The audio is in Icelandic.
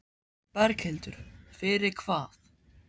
Berghildur: Fyrir hvað?